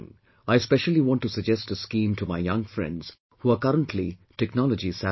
I specially want to suggest a scheme to my young friends who are currently technology savvy